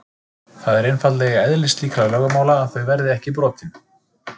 Það er einfaldlega í eðli slíkra lögmála að þau verða ekki brotin.